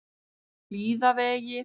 Hlíðavegi